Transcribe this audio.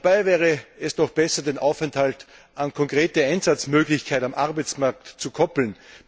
Dabei wäre es doch besser, den Aufenthalt an konkrete Einsatzmöglichkeiten am Arbeitsmarkt zu koppeln.